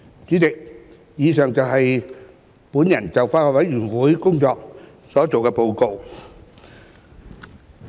主席，以上是我就法案委員會工作的報告。